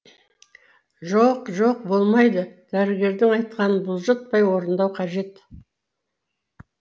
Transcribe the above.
жоқ жоқ болмайды дәрігердің айтқанын бұлжытпай орындау қажет